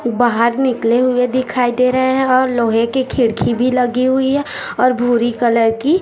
बाहर निकले हुए दिखाई दे रहे हैं और लोहे की खिड़की भी लगी हुई है और भूरी कलर की--